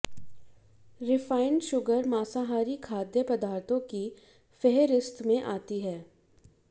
refined sugar मांसाहारी खाद्य पदार्थों की फेहरिस्त में आती है